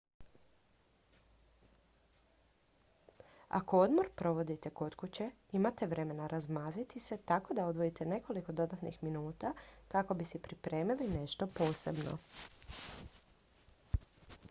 ako odmor provodite kod kuće imate vremena razmaziti se tako da odvojite nekoliko dodatnih minuta kako bi si pripremili nešto posebno